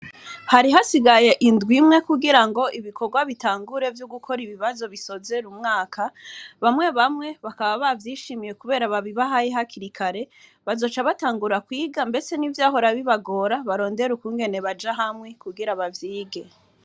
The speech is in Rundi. hari hasigaye indwi imye kugirango ibikorwa bitangure vyogukora ibibazo bisozera umwaka bamye bamye bakaba bavyishimiye kubera babibahaye hakiri kare bazoca batangura kwiga ndetse nivyahora bibagora barondere uko baja hamye bavyige